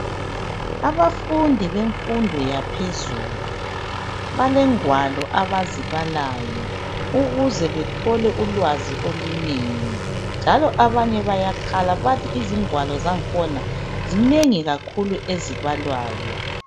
Abafundi bemfundo yaphezulu balengwalo abazibalayo ukuze bethole ulwazi olunengi njalo abanye bayakhala bathi izingwalo zakhona zinengi kakhulu ezibalwayo.